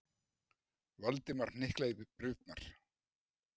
Valdimar hnyklaði brýnnar.